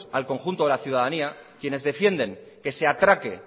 al conjunto de la ciudadanía quienes defienden que se atraque